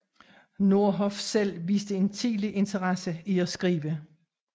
Nordhoff selv viste en tidlig interesse i at skrive